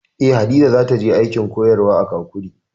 Eh, Hadiza za ta je aikin koyarwa a Kakuri